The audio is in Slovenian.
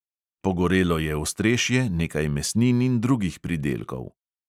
Pogorelo je ostrešje, nekaj mesnin in drugih pridelkov.